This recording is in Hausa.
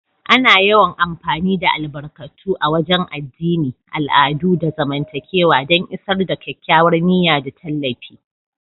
Ana yawan amfani da albarkatu a wagen addini, al'adu, da zamantakewa don isar da kyakkyawar niyya da tallafi.